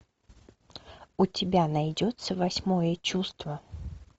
у тебя найдется восьмое чувство